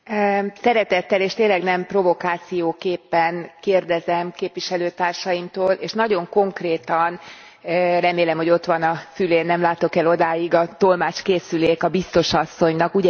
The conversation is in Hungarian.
Elnök Úr, szeretettel és tényleg nem provokációképpen kérdezem képviselőtársaimtól, és nagyon konkrétan remélem, hogy ott van a fülén nem látok el odáig a tolmácskészülék a biztos asszonynak.